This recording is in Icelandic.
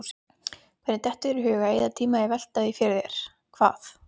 Hvernig dettur þér í hug að eyða tíma í að velta því fyrir þér, hvað